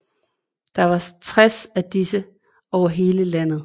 Der er 60 af disse over hele landet